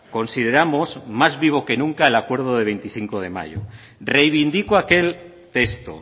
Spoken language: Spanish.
consideramos más vivo que nunca el acuerdo de veinticinco de mayo reivindico aquel texto